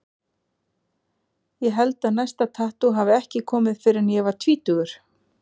Ég held að næsta tattú hafi ekki komið fyrr en ég var tvítugur.